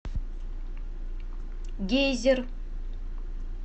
гейзер